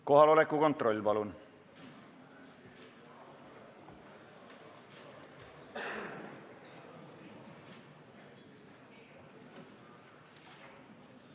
Kohaloleku kontroll, palun!